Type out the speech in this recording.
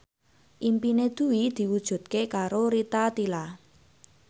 impine Dwi diwujudke karo Rita Tila